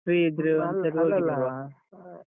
.